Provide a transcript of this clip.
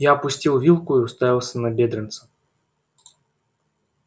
я опустил вилку и уставился на бедренца